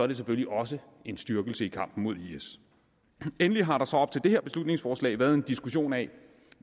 det selvfølgelig også en styrkelse af kampen mod is endelig har der så op til det her beslutningsforslag været en diskussion af